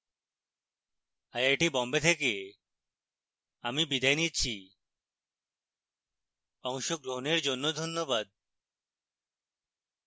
I I T Bombay থেকে আমি বিদায় নিচ্ছি অংশগ্রহনের জন্য ধন্যবাদ